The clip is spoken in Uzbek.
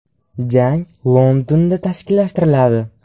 Jang Londonda tashkillashtiriladi.